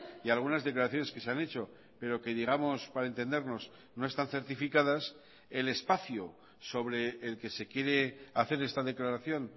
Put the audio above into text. y algunas declaraciones que se han hecho pero que digamos para entendernos no están certificadas el espacio sobre el que se quiere hacer esta declaración